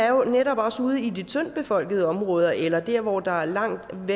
jo netop også ude i de tyndtbefolkede områder eller der hvor der er langt